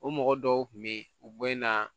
O mɔgɔ dɔw kun be yen u bɔ in na